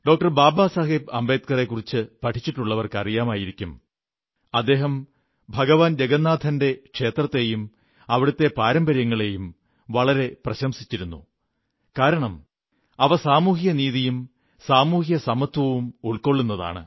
ബാബാ സാഹേബ് അംബേദ്കറെക്കുറിച്ചു പഠിച്ചിട്ടുള്ളവർക്ക് അറിയാമായിരിക്കും അദ്ദേഹം ഭഗവാൻ ജഗന്നാഥന്റെ ക്ഷേത്രത്തെയും അവിടത്തെ പാരമ്പര്യങ്ങളെയും വളരെ പ്രശംസിച്ചിരുന്നു കാരണം അവ സാമൂഹിക നീതിയും സാമൂഹിക സമത്വവും ഉൾക്കൊള്ളുന്നതാണ്